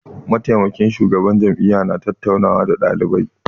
Mataimakin shugaban jami'a ya na tattauna nawa da ɗalibai